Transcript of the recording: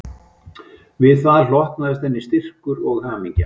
Við það hlotnaðist henni styrkur og hamingja